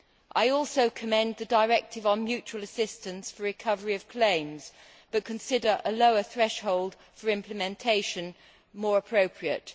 I also commend the directive on mutual assistance for recovery of claims but consider a lower threshold for implementation more appropriate.